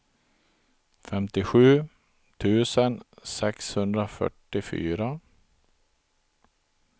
femtiosju tusen sexhundrafyrtiofyra